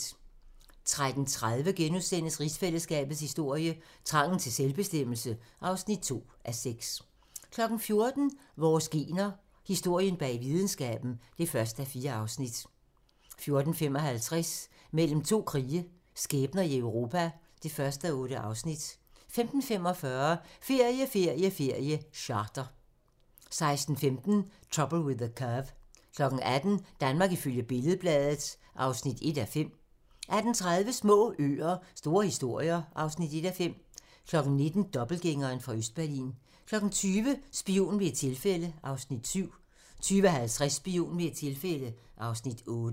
13:30: Rigsfællesskabets historie: Trangen til selvbestemmelse (2:6)* 14:00: Vores gener - Historien bag videnskaben (1:4) 14:55: Mellem to krige - skæbner i Europa (1:8) 15:45: Ferie, ferie, ferie: Charter 16:15: Trouble with the Curve 18:00: Danmark ifølge Billed-Bladet (1:5) 18:30: Små øer - store historier (1:5) 19:00: Dobbeltgængeren fra Østberlin 20:00: Spion ved et tilfælde (Afs. 7) 20:50: Spion ved et tilfælde (Afs. 8)